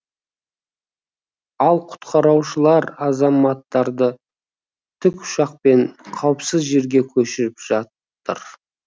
ал құтқарушылар азаматтарды тікұшақпен қауіпсіз жерге көшіріп жатыр